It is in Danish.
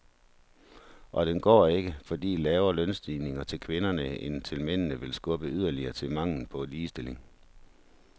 Og den går ikke, fordi lavere lønstigninger til kvinderne end til mændene vil skubbe yderligere til manglen på ligestilling.